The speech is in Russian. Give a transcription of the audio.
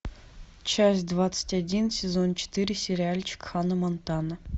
часть двадцать один сезон четыре сериальчик ханна монтана